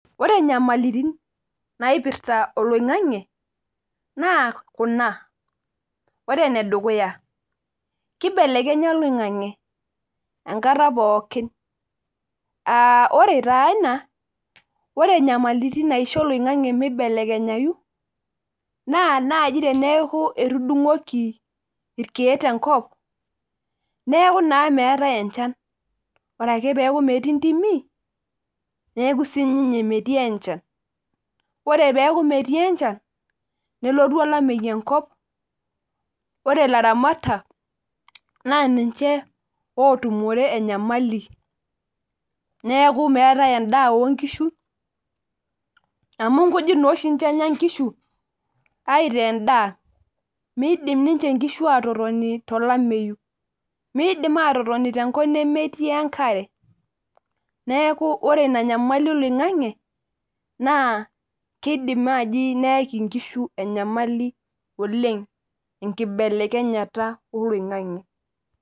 Ore nyamalitin naipirta oloingange naa kuna. Ore ene dukuya ,kibelekenya oloingange enkata pookin, ore taa ina ore nyamalitin naisho oloingange mibelekenyayu naa naaji teneeku etudungoki irkeek tenkop, neeku naa meetae enchan. Ore ake peeku metii ntimi, neeku siininye metii enchan. Ore pee eku metii enchan, nelotu olameyu enkop ore laramatak naa ninche otumore enyamali. Neeku meetae endaa onkishu amu nkujit naa oshi enya ninche nkishu aitaa endaa .Meidim ninche nkishu atotoni tolameyu ,Meidim atotoni tenkop nemetii enkare. Neeku ore ina nyamali oloingange naa kidim naaji neyaki nkishu enyamali oleng enkibelekenyata oloingange.